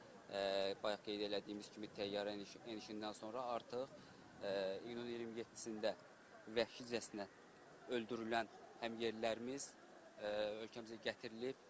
və bayaq qeyd elədiyimiz kimi təyyarə enişindən sonra artıq iyunun 27-də vəhşicəsinə öldürülən həmyerlilərimiz ölkəmizə gətirilib.